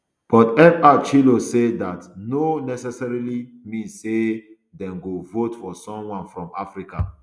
but fr chu ilo say dat no necessarily mean say dem go vote for someone from africa